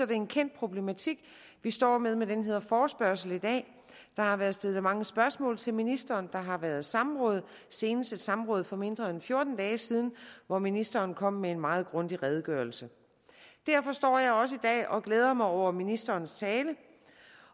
det er en kendt problematik vi står med med den her forespørgsel i dag der har været stillet mange spørgsmål til ministeren der har været samråd og senest et samråd for mindre end fjorten dage siden hvor ministeren kom med en meget grundig redegørelse derfor står jeg også i dag og glæder mig over ministerens tale